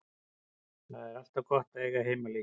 Það er alltaf gott að eiga heimaleiki.